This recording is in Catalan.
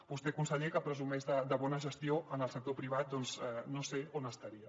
vostè conseller que presumeix de bona gestió en el sector privat doncs no sé on estaria